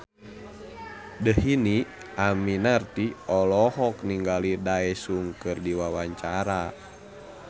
Dhini Aminarti olohok ningali Daesung keur diwawancara